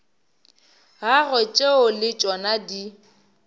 gagwe tšeo le tšona di